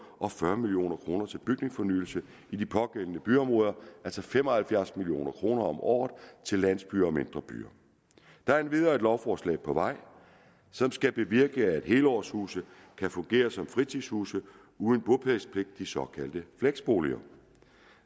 og fyrre million kroner til bygningsfornyelsen i de pågældende byområder altså fem og halvfjerds million kroner om året til landsbyer og mindre byer der er endvidere lovforslag på vej som skal bevirke at helårshuse kan fungere som fritidshuse uden bopælspligt de såkaldte fleksboliger